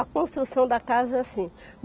A construção da casa é assim.